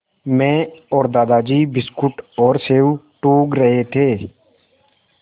मैं और दादाजी बिस्कुट और सेब टूँग रहे थे